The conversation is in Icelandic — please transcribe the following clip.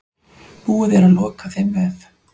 Búið er að loka þeim vef.